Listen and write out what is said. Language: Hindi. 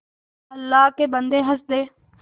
अल्लाह के बन्दे हंस दे